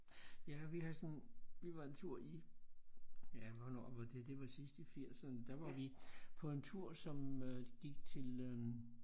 Ja vi har sådan vi var en tur i ja hvornår var det det var sidst i firserne der var vi på en tur som øh gik til øh